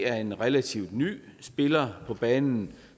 er en relativt ny spiller på banen